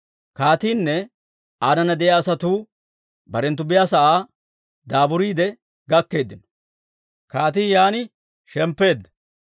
Kaatiinne aanana de'iyaa asatuu barenttu biyaasa'aa daaburiide gakkeeddino. Kaatii yaan shemppeedda.